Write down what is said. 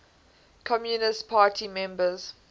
communist party members